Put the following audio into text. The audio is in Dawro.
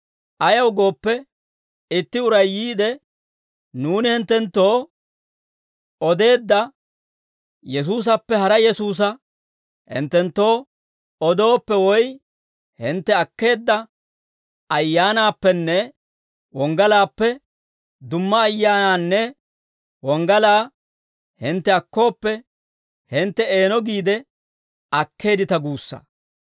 Ayaw gooppe, itti uray yiide, nuuni hinttenttoo odeedda Yesuusappe hara Yesuusa hinttenttoo odooppe, woy hintte akkeedda Ayyaanaappenne wonggalaappe dumma ayyaanaanne wonggalaa hintte akkooppe, hintte eeno giide akkeeddita guussa.